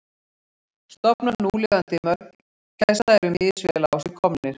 Stofnar núlifandi mörgæsa eru misvel á sig komnir.